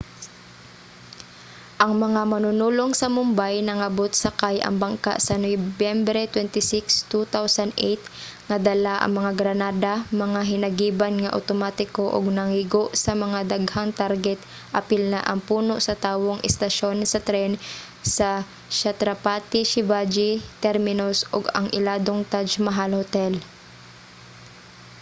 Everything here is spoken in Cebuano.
ang mga manunulong sa mumbai nangabot sakay ang bangka sa nobyembre 26 2008 nga dala ang mga granada mga hinagiban nga otomatiko ug nangigo sa mga daghang target apil na ang puno sa tawong estasyon sa tren sa chhatrapati shivaji terminus ug ang iladong taj mahal hotel